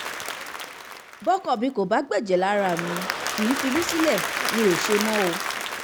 bọ́kọ mi kò bá gbẹ̀jẹ̀ lára mi kì í fi mí sílẹ̀ mi ò ṣe mọ́